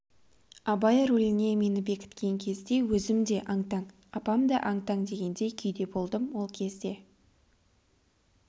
абай рөліне мені бекіткен кезде өзім де аң-таң апам да аң-таң дегендей күйде болдым ол кезде